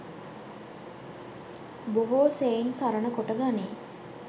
බොහෝ සෙයින් සරණ කොට ගනී.